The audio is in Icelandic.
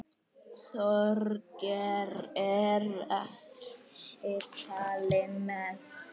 Þorgeir er ekki talinn með.